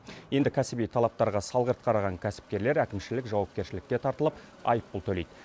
енді кәсіби талаптарға салғырт қараған кәсіпкерлер әкімшілік жауапкершілікке тартылып айыппұл төлейді